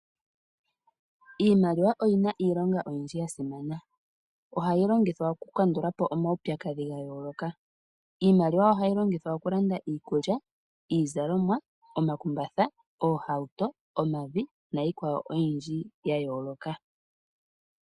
Iimaliwa oyi na iilonga oyindji ya simana, ohayi longithwa oku kandulapo omawupyakadhi ga yooloka. Iimaliwa ohayi longithwa okulanda iikulya, iizalomwa, omakumbatha, oohawuto, omavi na Iikwawo yimwe oyindji ya yooloka.